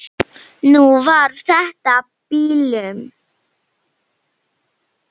Nú var þetta bilun.